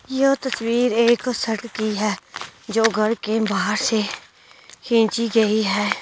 यह तस्वीर एक सड़क की है जो घर के बाहर से खींची गई है।